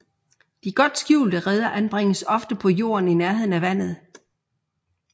De godt skjulte reder anbringes ofte på jorden i nærheden af vandet